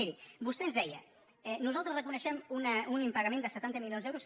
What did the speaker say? miri vostè ens deia nosaltres reconeixem un impa·gament de setanta milions d’euros